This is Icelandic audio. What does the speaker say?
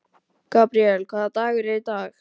Gabríel, hvaða dagur er í dag?